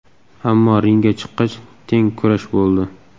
Ammo ringga chiqqach teng kurash bo‘ldi.